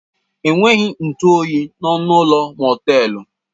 Enweghị ntụ oyi n'ọnụ ụlọ mọtelu.